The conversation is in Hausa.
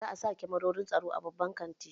Za a sa da kamarorin tsaro a babban kantin.